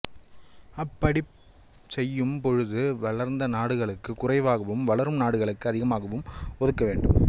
அப் படிச் செய்யும் பொழுது வளர்ந்த நாடுகளுக்கு குறைவாகவும் வளரும் நாடுகளுக்கு அதிகமாகவும் ஒதுக்கவேண்டும்